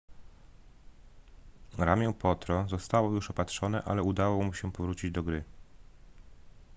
ramię potro zostało już opatrzone ale udało mu się powrócić do gry